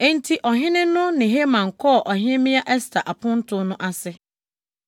Enti ɔhene no ne Haman kɔɔ Ɔhemmea Ɛster aponto no ase.